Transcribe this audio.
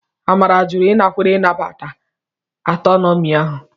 Amara jụrụ ịnakwere nnabata Anatomi ahụ.